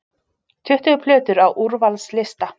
Tuttugu plötur á úrvalslista